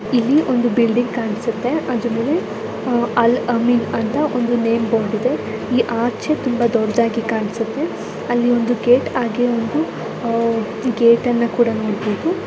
ಇಲ್ಲಿ ಒಂದು ಬಿಲ್ಡಿಂಗ್ ಕಾಣಿಸುತ್ತೆ ಅದರ ಮೇಲೆ ಆಹ್ ಅಲ್ ಅಮಿನ್ ಅಂತ ಒಂದು ನೇಮ್ ಬೋರ್ಡ್ ಇದೆ ಇಲ್ಲಿ ಆಚೆ ತುಂಬಾ ದೊಡ್ಡದಾಗಿ ಕಾಣಿಸುತ್ತೆ ಅಲ್ಲಿ ಒಂದು ಗೇಟ್ ಹಾಗೆ ಒಂದು ಆಹ್ ಗೇಟ್ ಅನ್ನೂ ಕೂಡ ನೋಡಬಹುದು.